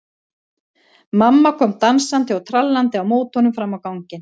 Mamma kom dansandi og trallandi á móti honum fram á ganginn.